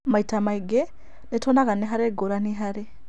Maita maingĩ. nĩtuonaga nĩharĩ ngũrani harĩ